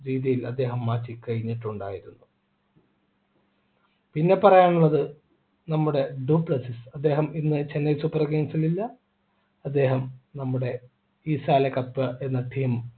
രീതിയിൽ അദ്ദേഹം മാറ്റി കഴിഞ്ഞിട്ടുണ്ടായിരുന്നു പിന്നെ പറയാനുള്ളത് നമ്മുടെ അദ്ദേഹം ഇന്ന് ചെന്നൈ super kings ൽ ഇല്ല അദ്ദേഹം നമ്മുടെ ഈ എന്നത്തേയും